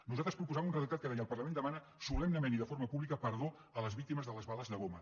nosaltres proposàvem un redactat que deia el parlament demana solemnement i de forma pública perdó a les víctimes de les bales de goma